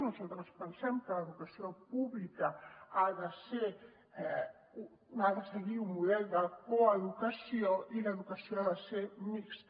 nosaltres pensem que l’educació pública ha de seguir un model de coeducació i l’educació ha de ser mixta